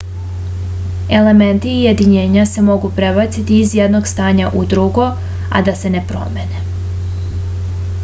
elementi i jedinjenja se mogu prebaciti iz jednog stanja u drugo a da se ne promene